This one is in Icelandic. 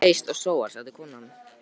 Þú eyst og sóar, sagði konan.